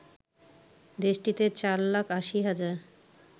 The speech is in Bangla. দেশটিতে চার লাখ ৮০ হাজার